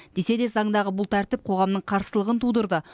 десе де заңдағы бұл тәртіп қоғамның қарсылығын тудырды